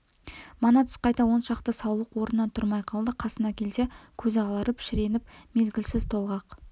мана түс қайта он шақты саулық орнынан тұрмай қалды қасына келсе көзі аларып шіреніп мезгілсіз толғақ